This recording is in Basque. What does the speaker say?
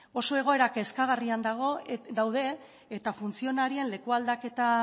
oso egoera kezkagarrian daude eta funtzionarioen leku aldaketa